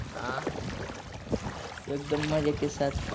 एकदम मजे के साथ.